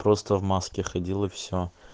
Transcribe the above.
просто в маске ходил и все